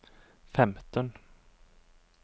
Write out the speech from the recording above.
femten